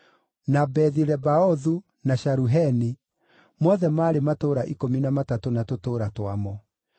na Bethi-Lebaothu, na Sharuheni; mothe maarĩ matũũra ikũmi na matatũ na tũtũũra twamo.